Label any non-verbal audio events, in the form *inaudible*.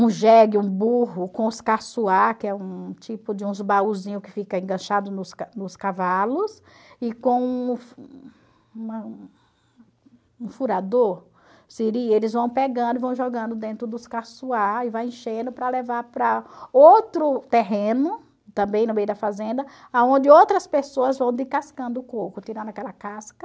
um jegue, um burro, com os *unintelligible* que é um tipo de uns baúzinhos que fica enganchado nos ca nos cavalos, e com *unintelligible* um furador, seria... eles vão pegando e vão jogando dentro dos *unintelligible* e vai enchendo para levar para outro terreno, também no meio da fazenda, aonde outras pessoas vão descascando o coco, tirando aquela casca,